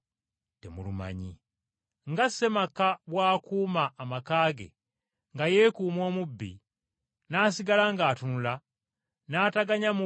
Naye mutegeere kino: ssinga ssemaka amanya essaawa omubbi w’anaayingirira okumenya ennyumba ye, yandisigadde ng’atunula, n’ataganya mubbi kumuyingirira.